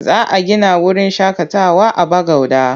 Za a gina wurin shaƙatawa a Bagauda.